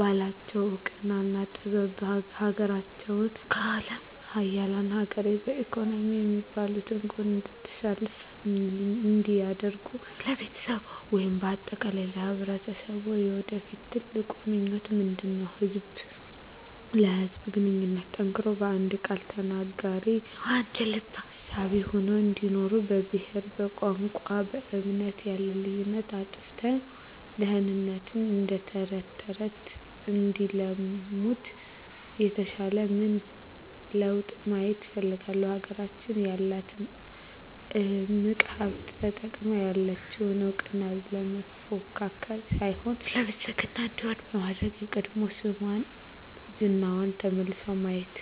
ባላቸው እውቀትና ጥበብ ሀገራቸውን ከአለም ሀያላን ሀገር በኢኮኖሚ ከሚባሉት ጎን እንድትሰለፍ እንዲያደርጉ ለቤተሰብዎ ወይም በአጠቃላይ ለማህበረሰብዎ የወደፊት ትልቁ ምኞቶ ምንድነው? ህዝብ ለህዝብ ግንኙነቱ ጠንክሮ በአንድ ቃል ተናጋሪ በአንድ ልብ አሳቢ ሆነው እንዲኖሩ በብሄር በቋንቋ በእምነት ያለውን ልዩነት አጥፍተው ድህነትን እደተረተረት እንዲያለሙት የተሻለ ምን ለውጥ ማየት ይፈልጋሉ? ሀገራችን ያላትን እምቅ ሀብት ተጠቅመው ያለቸውን እውቀት ለመፎካከር ሳይሆን ለብልፅግና እንዲሆን በማድረግ የቀድሞ ስሟና ዝናዋ ተመልሶ ማየት